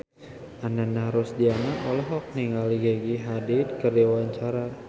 Ananda Rusdiana olohok ningali Gigi Hadid keur diwawancara